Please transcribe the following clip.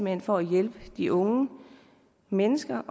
hen for at hjælpe de unge mennesker